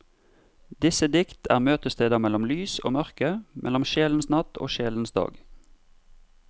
Disse dikt er møtesteder mellom lys og mørke, mellom sjelens natt og sjelens dag.